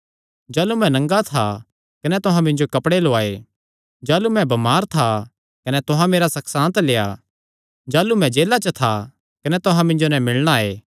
जाह़लू मैं नंगा था कने तुहां मिन्जो कपड़े लौआये जाह़लू मैं बमार था कने तुहां मेरा सकशांत लेआ जाह़लू मैं जेला च था कने तुहां मिन्जो नैं मिलणा आये